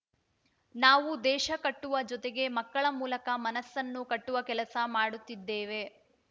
ನಾವು ದೇಶ ಕಟ್ಟುವ ಜೊತೆಗೆ ಮಕ್ಕಳ ಮೂಲಕ ಮನಸ್ಸನ್ನು ಕಟ್ಟುವ ಕೆಲಸ ಮಾಡುತ್ತಿದ್ದೇವೆ